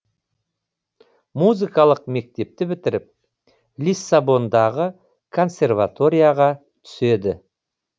музыкалық мектепті бітіріп лиссабондағы консерваторияға түседі